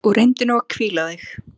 Og reyndu nú að hvíla þig.